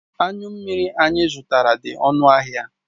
Anyu mmiri anyi zutara di onu ahia